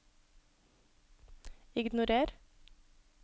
ignorer